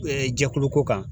Ɛɛ jɛkulu ko kan